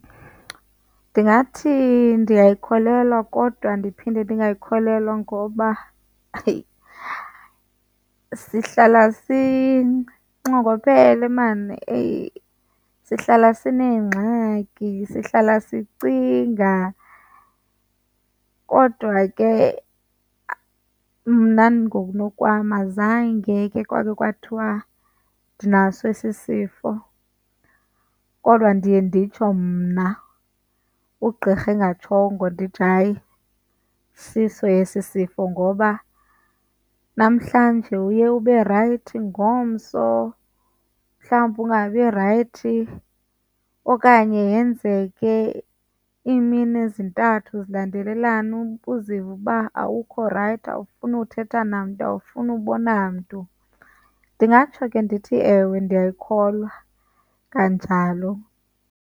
Ndingathi ndiyayikholelwa kodwa ndiphinde ndingayikholelwa ngoba heyi, sihlala sinxongophele maan. Eyi, sihlala sineengxaki, sihlala sicinga kodwa ke mna ngokunokwam azange ke kwakhe kwathiwa ndinaso esi sifo. Kodwa ndiye nditsho mna ugqirha engatshongo ndithi hayi, siso esi sifo ngoba namhlanje uye ube rayithi, ngomso mhlawumbi ungabi rayithi. Okanye yenzeke iimini zintathu zilandelelana uzive uba awukho rayithi awufuni uthetha namntu awufuni ubona mntu. Ndingatsho ke ndithi, ewe, ndiyayikholwa kanjalo.